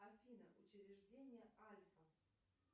афина учреждение альфа